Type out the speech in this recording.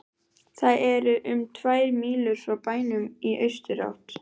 Það er um tvær mílur frá bænum í austurátt.